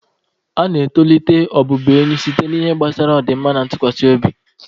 A na-etolite ọbụbụenyi site n'ihe gbasara ọdịmma na ntụkwasị obi.